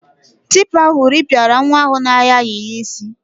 Tipa ahụ rịpịara nwa ahụ na-ayọ ayịyọ isi.